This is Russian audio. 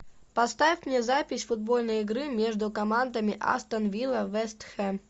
поставь мне запись футбольной игры между командами астон вилла вест хэм